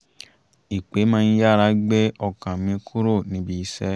ìpè má ń yára gbé ọkàm mi kúrò níbi iṣẹ́